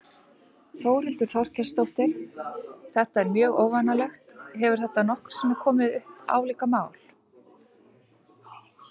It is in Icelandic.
Þórhildur Þorkelsdóttir: Þetta er mjög óvenjulegt, hefur þetta nokkru sinni áður komið upp, álíka mál?